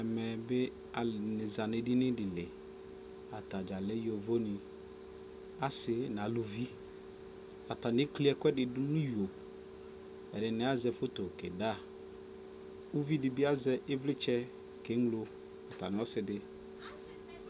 ɛmɛ bi alʋɛdini zanʋ ɛdini dili, atagya lɛ yɔvɔ ni, asii nʋ alʋvi, atani ɛkli ɛkʋɛdi dʋnʋ iyɔ, ɛdini azɛ photo kɛ da, ʋvi dibi azɛ ivlitsɛ kɛ mlɔ atami ɔsiidi